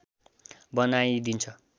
बनाई दिन्छ